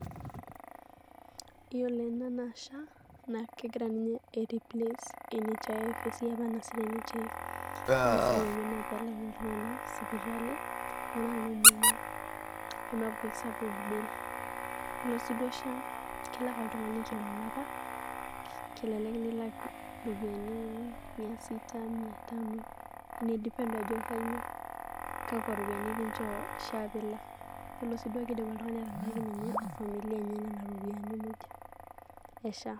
Yiolo ena naa SHA naa kegira ninye ai replace NHIF te siai apa nayasita ninche. Ore esiai enye naa pee elaaki iltung`anak sipitali ltung`anak oo muyiaa pee meeku sapuk bill. Yiolo si duo SHA kelak oltung`ani kila olapa kelelek nilak irropiyiani, mia sita, mia tano ina depend ajo kakwa ropiyiani kinchoo SHA pee ilak. Yiolo sii duo kidim oltung`ani atalaaki ninye ina familia enye nena ropiyiani muj e SHA.